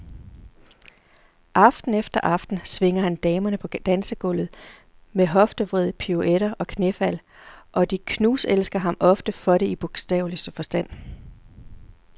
Aften efter aften svinger han damerne på dansegulvet med hoftevrid, piruetter og knæfald, og de knuselsker ham ofte for det i bogstaveligste forstand.